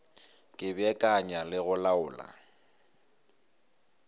ka beakanya le go laola